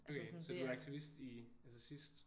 Okay så du er aktivist i altså sidst?